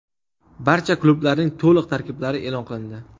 Barcha klublarning to‘liq tarkiblari e’lon qilindi.